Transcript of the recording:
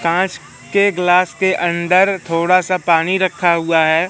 कांच के गिलास के अंदर थोड़ा सा पानी रखा हुआ है।